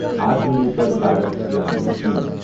Atma Nirbhar Bharat Abhiyan scheme